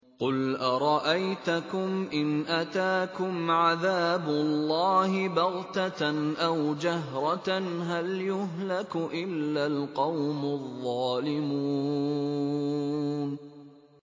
قُلْ أَرَأَيْتَكُمْ إِنْ أَتَاكُمْ عَذَابُ اللَّهِ بَغْتَةً أَوْ جَهْرَةً هَلْ يُهْلَكُ إِلَّا الْقَوْمُ الظَّالِمُونَ